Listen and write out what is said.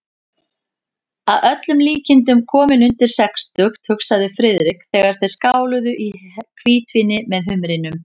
Að öllum líkindum kominn undir sextugt, hugsaði Friðrik, þegar þeir skáluðu í hvítvíni með humrinum.